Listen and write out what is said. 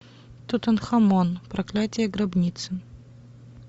тутанхамон проклятие гробницы